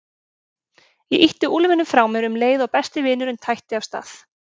Ég ýtti úlfinum frá mér um leið og besti vinurinn tætti af stað.